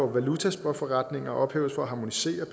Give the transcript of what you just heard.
valutaspotforretninger ophæves for at harmonisere at